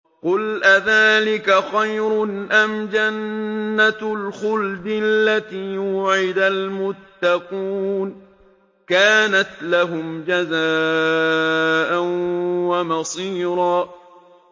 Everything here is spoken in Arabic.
قُلْ أَذَٰلِكَ خَيْرٌ أَمْ جَنَّةُ الْخُلْدِ الَّتِي وُعِدَ الْمُتَّقُونَ ۚ كَانَتْ لَهُمْ جَزَاءً وَمَصِيرًا